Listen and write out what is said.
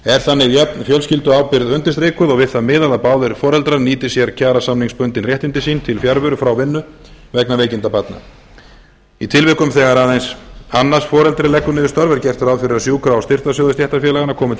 er þannig jöfn fjölskylduábyrgð undirstrikuð og við það miðað að báðir foreldrar nýti sér kjarasamningsbundin réttindi sín til fjarveru frá vinnu vegna veikinda barna í tilvikum þegar aðeins annað foreldri leggur niður störf er gert ráð fyrir að sjúkra og styrktarsjóðir stéttarfélaganna komi til